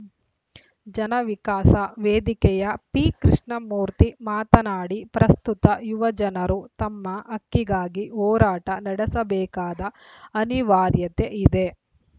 ಜನವಿಕಾಸ ವೇದಿಕೆಯ ಪಿಕೃಷ್ಣಮೂರ್ತಿ ಮಾತನಾಡಿ ಪ್ರಸ್ತುತ ಯುವಜನರು ತಮ್ಮ ಹಕ್ಕಿಗಾಗಿ ಹೋರಾಟ ನಡೆಸಬೇಕಾದ ಅನಿವಾರ್ಯತೆ ಇದೆ